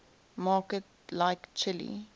markets like chile